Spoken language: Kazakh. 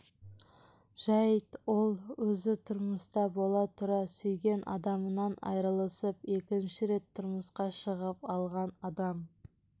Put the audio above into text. жайт ол өзі тұрмыста бола тұра сүйген адамынан айырылысып екінші рет тұрмысқа шығып алған адам